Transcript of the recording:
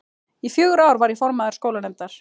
Í fjögur ár var ég formaður skólanefndar.